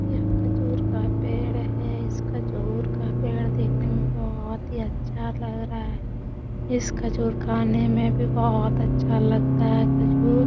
यह खजूर का पेड़ है इस खजूर का पेड देखने में बहोत ही अच्छा लग रहा है इस खजूर खाने में भी बहोत अच्छा लगता है खजूर --